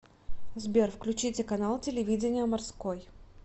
сбер включите канал телевидения морской